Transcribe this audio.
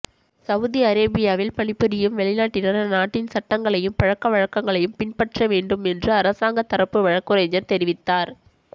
Saudi அரேபியாவில் பணிபுரியும் வெளிநாட்டினர் அந்நாட்டின் சட்டங்களையும் பழக்க வழக்கங்களையும் பின்பற்ற வேண்டும் என்று அரசாங்கத் தரப்பு வழக்குரைஞர் தெரிவித்தார்